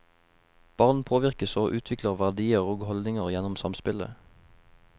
Barn påvirkes og utvikler verdier og holdninger gjennom samspillet.